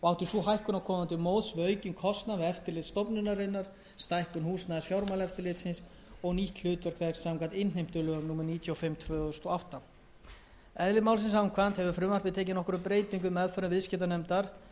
og átti sú hækkun að koma til móts við aukinn kostnað við eftirlit stofnunarinnar stækkun húsnæðis fjármálaeftirlitsins og nýtt hlutverk þess samkvæmt innheimtulögum númer níutíu og fimm tvö þúsund og átta eðli málsins samkvæmt hefur frumvarpið tekið nokkrum breytingum í meðförum viðskiptanefndar en nefndin hefur fengið á